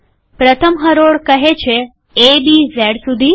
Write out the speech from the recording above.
પ્રથમ હરોળ કહે છે એ બી ઝેડ સુધી